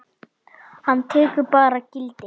Hann tekur bara gildi?